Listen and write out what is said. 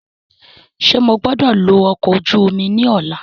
Ṣe mo gbọdọ lo ọkọ oju omi ni ọla?